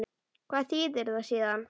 Hvað þýðir það síðan?